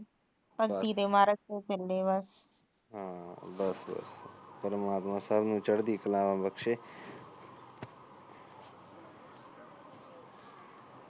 ਹਾ ਬਸ ਬਸ ਪਰਮਾਤਮਾ ਸੱਭ ਨੂੰ ਚੜਦੀ ਕਲਾ ਬਖਸ਼ੇ